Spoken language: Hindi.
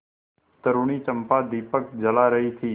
तरूणी चंपा दीपक जला रही थी